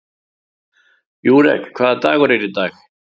Júrek, hvaða dagur er í dag?